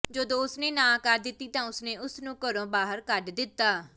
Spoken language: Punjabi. ਜਦੋਂ ਉਸ ਨੇ ਨਾਂਹ ਕਰ ਦਿੱਤੀ ਤਾਂ ਉਸ ਨੇ ਉਸ ਨੂੰ ਘਰੋਂ ਬਾਹਰ ਕੱਢ ਦਿੱਤਾ